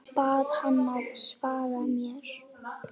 Bað hana að svara mér.